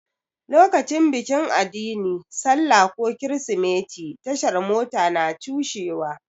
Lokacin bikin addini, sallah ko kirsimeti, tashar Mota na cushewa.